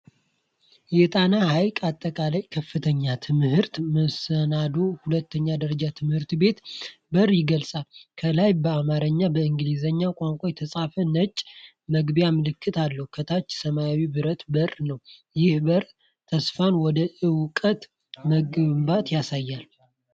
የጣና ሐይቅ አጠቃላይ ከፍተኛ ትምህርት መሠናዶና ሁለተኛ ደረጃ ትምህርት ቤት በር ይገለጻል። ከላይ በአማርኛና በእንግሊዝኛ ቋንቋ የተጻፈ ነጭ የመግቢያ ምልክት አለ፤ ከታች ሰማያዊ ብረት በር ነው። ይህ በር ተስፋንና ወደ እውቀት መግባትን ያሳያል።